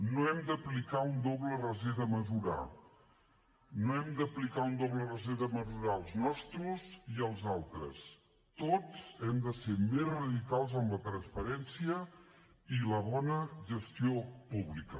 no hem d’aplicar un doble raser de mesurar no hem d’aplicar un doble raser de mesurar els nostres i els altres tots hem de ser més radicals amb la transparència i la bona gestió pública